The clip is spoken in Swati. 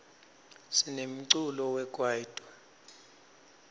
sinemculo wekwaito